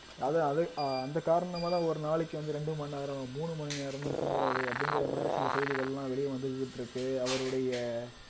அது அது அந்த காரணமாதான் ஒரு நாளைக்கு வந்து ரெண்டு மண் நேரம் மூணு மணி நேரம் தான் தூங்குறாரு அப்படிங்கிற மாதிரி சில செய்திகள் எல்லாம் வெளிய வந்துகிட்டு இருக்கு அவருடைய